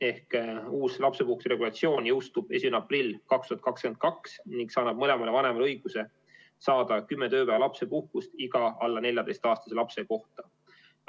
Ehk uus lapsepuhkuse regulatsioon jõustub 1. aprillil 2022 ning see annab mõlemale vanemale õiguse saada 10 tööpäeva lapsepuhkust iga alla 14-aastase lapse kohta.